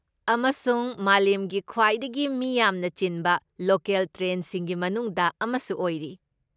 ꯑꯃꯁꯨꯡ ꯃꯥꯂꯦꯝꯒꯤ ꯈ꯭ꯋꯥꯏꯗꯒꯤ ꯃꯤ ꯌꯥꯝꯅ ꯆꯤꯟꯕ ꯂꯣꯀꯦꯜ ꯇ꯭ꯔꯦꯟꯁꯤꯡꯒꯤ ꯃꯅꯨꯡꯗ ꯑꯃꯁꯨ ꯑꯣꯏꯔꯤ꯫